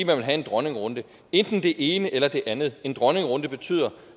man vil have en dronningerunde enten det ene eller det andet en dronningerunde betyder